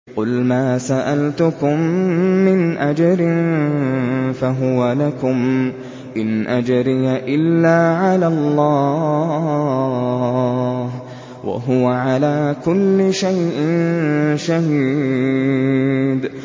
قُلْ مَا سَأَلْتُكُم مِّنْ أَجْرٍ فَهُوَ لَكُمْ ۖ إِنْ أَجْرِيَ إِلَّا عَلَى اللَّهِ ۖ وَهُوَ عَلَىٰ كُلِّ شَيْءٍ شَهِيدٌ